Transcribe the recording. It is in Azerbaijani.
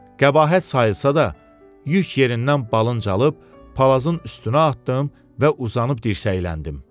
Qəbahət sayılsa da, yük yerindən balıncalıb, palazın üstünə atdım və uzanıb dirsəkləndim.